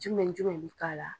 Jumɛn ni jumɛn bɛ k'a la.